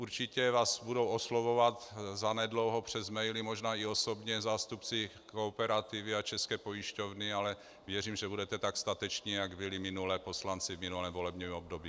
Určitě vás budou oslovovat zanedlouho přes maily, možná i osobně, zástupci Kooperativy a České pojišťovny, ale věřím, že budete tak stateční, jak byli minule poslanci v minulém volebním období.